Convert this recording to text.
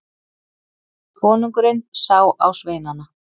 Konungurinn sá á sveinana.